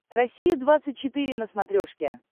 россия двадцать четыре на смотрешке